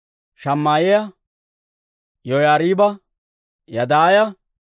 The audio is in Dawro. Shamaa'iyaa, Yoyaariiba, Yadaaya,